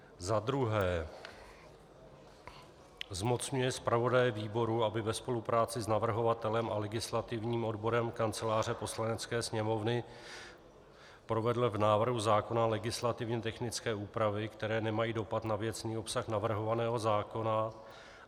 Za druhé, zmocňuje zpravodaje výboru, aby ve spolupráci s navrhovatelem a legislativním odborem Kanceláře Poslanecké sněmovny provedl v návrhu zákona legislativně technické úpravy, které nemají dopad na věcný obsah navrhovaného zákona.